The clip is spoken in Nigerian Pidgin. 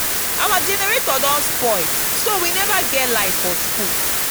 our generator don spoil so we never get light for school